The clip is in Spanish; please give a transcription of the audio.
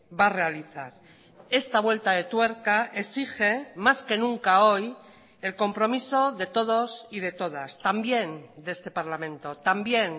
va a realizar esta vuelta de tuerca exige más que nunca hoy el compromiso de todos y de todas también de este parlamento también